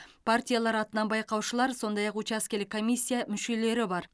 партиялар атынан байқаушылар сондай ақ учаскелік комиссия мүшелері бар